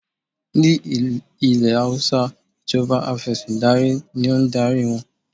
Ní ilẹ̀ Hausa ìjọba Afẹ̀sìndarí ní o ń darí wọn.